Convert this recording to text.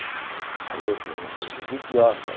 A gente não semos idiota.